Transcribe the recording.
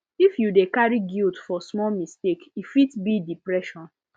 if you dey carry guilt for small mistake e fit be depression